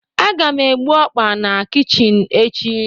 a ga m egbu okpa na kichin echi